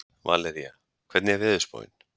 Valería, hvernig er veðurspáin?